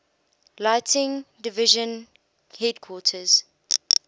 lighting division headquarters